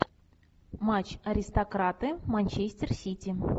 матч аристократы манчестер сити